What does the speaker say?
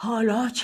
آمدی